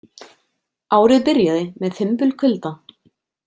Árið byrjaði með fimbulkulda.